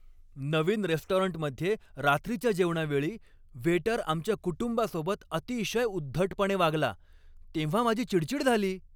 नवीन रेस्टॉरंटमध्ये रात्रीच्या जेवणावेळी वेटर आमच्या कुटुंबासोबत अतिशय उद्धटपणे वागला तेव्हा माझी चिडचिड झाली.